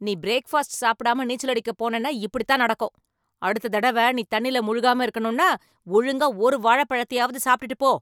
நீ பிரேக்ஃபாஸ்ட் சாப்பிடாம நீச்சல் அடிக்க போனேன்னா இப்படித்தான் நடக்கும். அடுத்த தடவை நீ தண்ணில முழுகாம இருக்கணும்னா, ஒழுங்கா ஒரு வாழைப்பழத்தையாவது சாப்டுட்டு போ.